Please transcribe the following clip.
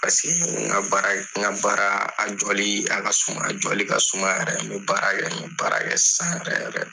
N ka baara in, n ka baara, a jɔli a ka suma, a jɔli ka suma yɛrɛ n bi baara kɛ, n baara kɛ sisan yɛrɛ